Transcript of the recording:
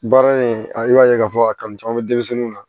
Baara in a i b'a ye k'a fɔ a kanu caman bɛ denmisɛnninw na